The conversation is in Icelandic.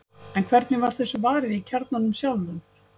En hvernig var þessu varið í kjarnanum sjálfum?